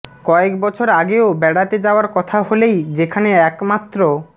কয়েক বছর আগেও বেড়াতে যাওয়ার কথা হলেই যেখানে একমাত্র